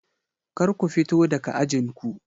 Kar ku fito daga ajin ku!